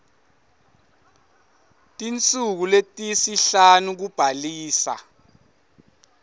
tinsuku letisihlanu kubhalisa